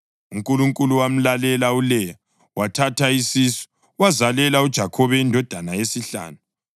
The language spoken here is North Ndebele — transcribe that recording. UNkulunkulu wamlalela uLeya, wathatha isisu wazalela uJakhobe indodana yesihlanu.